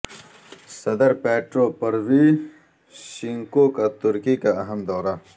صدر Petro Poroshenko کا ترکی کی اہم دورہ